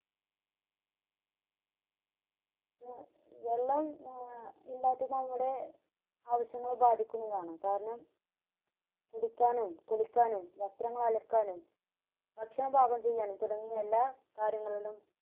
വെള്ളം ആഹ് ഇല്ലാത്തത് നമ്മുടെ ആവിശ്യങ്ങളെ ബാധിക്കുന്നതാണ് കാരണം കുടിക്കാനും കുളിക്കാനും വസ്ത്രങ്ങൾ അലക്കാനും ഭക്ഷണം പാകം ചെയ്യാനും തുടങ്ങിയ എല്ലാ കാര്യങ്ങളിലും